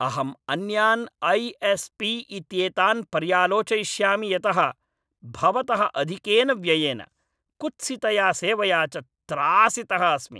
अहम् अन्यान् ऐ.एस्.पी. इत्येतान् पर्यालोचयिष्यामि यतः भवतः अधिकेन व्ययेन, कुत्सितया सेवया च त्रासितः अस्मि।